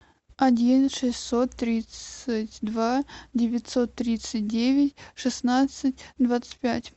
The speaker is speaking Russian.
один шестьсот тридцать два девятьсот тридцать девять шестнадцать двадцать пять